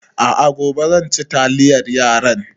A a, gobe zan ci taliyar yaran.